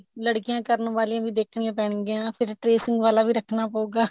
ਲੜਕੀਆਂ ਕਰਨ ਵਾਲੀਆਂ ਵੀ ਦੇਖਣੀਆ ਪੈਣ ਗਿਆਂ ਫੇਰ tracing ਵਾਲਾ ਵੀ ਰੱਖਣਾ ਪਉਗਾ